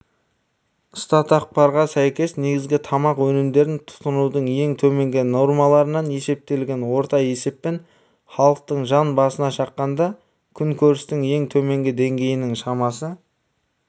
статақпарға сәйкес негізгі тамақ өнімдерін тұтынудың ең төменгі нормаларынан есептелген орта есеппен халықтың жан басына шаққандағы күнкөрістің ең төменгі деңгейінің шамасы